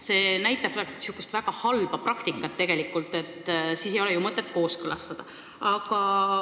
See on niisugune väga halb praktika – sel juhul ei ole ju mõtet kooskõlastada.